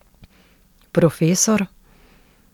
Profesor?